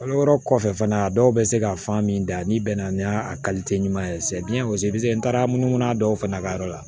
Kalo wɔɔrɔ kɔfɛ fana a dɔw bɛ se ka fan min da n'i bɛnna ni y'a ɲuman ye n taara munumunu a dɔw fana ka yɔrɔ la